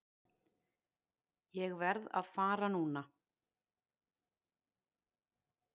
Ég verð að fara núna!